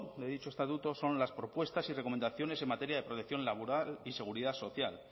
de dicho estatuto son las propuestas y recomendaciones en materia de protección laboral y seguridad social